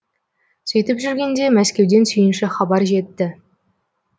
сөйтіп жүргенде мәскеуден сүйінші хабар жетті